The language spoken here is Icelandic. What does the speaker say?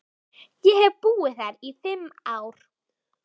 Ég hef búið þar í fimm ár.